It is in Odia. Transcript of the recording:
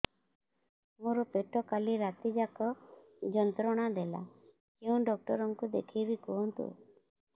ମୋର ପେଟ କାଲି ରାତି ଯାକ ଯନ୍ତ୍ରଣା ଦେଲା କେଉଁ ଡକ୍ଟର ଙ୍କୁ ଦେଖାଇବି କୁହନ୍ତ